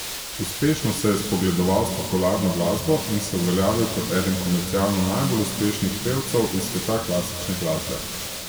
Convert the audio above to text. Uspešno se je spogledoval s popularno glasbo in se uveljavil kot eden komercialno najbolj uspešnih pevcev iz sveta klasične glasbe.